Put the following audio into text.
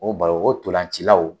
O balon o ntolancilaw